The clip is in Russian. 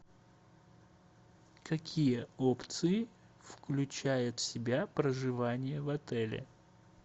какие опции включает в себя проживание в отеле